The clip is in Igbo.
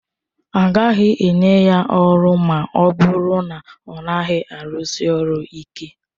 A gaghị enye ya ọrụ ma ọ bụrụ na ọ naghị arụsi ọrụ ịke